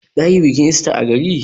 Za ki yi bikin ista a gari.